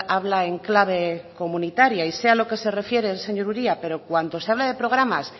habla en clave comunitaria y sé a lo que se refiere el señor uria pero cuando se habla de programas